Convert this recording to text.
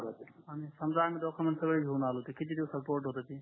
समजा आम्ही डॉक्युमेंट पूर्ण घेऊन आलो तर किती दिवसात पोर्ट होईल